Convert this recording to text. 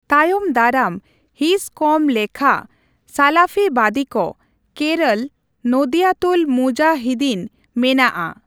Time ᱫᱟᱨᱟᱢ ᱦᱤᱸᱥ ᱠᱚᱢ ᱞᱮᱠᱷᱟ ᱥᱟᱞᱟᱯᱷᱤᱵᱟᱫᱤᱠᱚ (ᱠᱮᱨᱚᱞ ᱱᱚᱫᱣᱭᱟᱛᱩᱞ ᱢᱩᱡᱟᱦᱤᱫᱤᱱ) ᱢᱮᱱᱟᱜᱼᱟ᱾